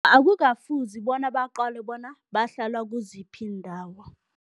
Akukafuzi bona baqale bona bahlala kuziphi iindawo.